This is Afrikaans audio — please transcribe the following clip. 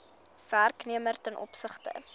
werknemer ten opsigte